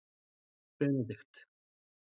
Benidikt